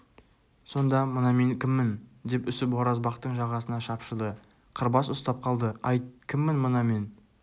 сонда мына мен кіммін деп үсіп оразбақтың жағасына шапшыды қырбас ұстап қалды айт кіммін мына мен